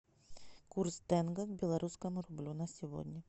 курс тенге к белорусскому рублю на сегодня